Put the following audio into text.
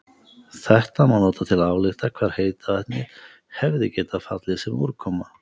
Þetta má nota til að álykta hvar heita vatnið hefði getað fallið sem úrkoma.